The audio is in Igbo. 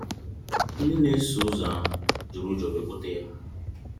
Ndị na-eso ụzọ ahụ jiri ụjọ nwee kpọtee ya.